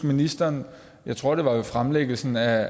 ministeren jeg tror det var ved fremlæggelsen af